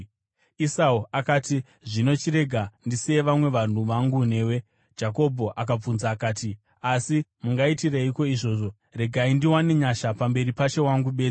Esau akati, “Zvino chirega ndisiye vamwe vanhu vangu newe.” Jakobho akabvunza akati, “Asi mungaitireiko izvozvo? Regai ndiwane nyasha pamberi pashe wangu bedzi.”